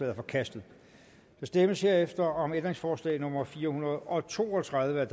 er forkastet der stemmes herefter om ændringsforslag nummer fire hundrede og to og tredive